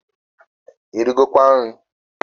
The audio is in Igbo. Irigokwa nri?